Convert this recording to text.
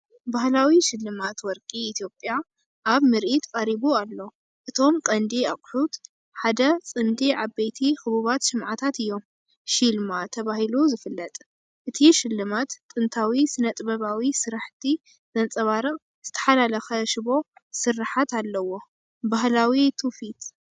ባህላዊ ስልማት ወርቂ ኢትዮጵያ ኣብ ምርኢት ቀሪቡ ኣሎ። እቶም ቀንዲ ኣቑሑት ሓደ ጽምዲ ዓበይቲ ክቡባት ሽምዓታት እዮም፤ "ሺልማ" ተባሂሉ ዝፍለጥ። እቲ ስልማት ጥንታዊ ስነ-ጥበባዊ ስርሓት ዘንጸባርቕ ዝተሓላለኸ ሽቦ ስርሓት ኣለዎ። ባህላዊ ትውፊት!